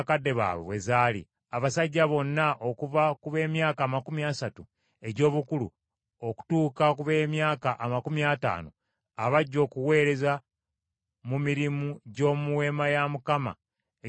Abasajja bonna okuva ku b’emyaka amakumi asatu egy’obukulu okutuuka ku b’emyaka amakumi ataano abajja okuweereza mu mirimu gy’omu Weema ey’Okukuŋŋaanirangamu,